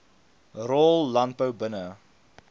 rol landbou binne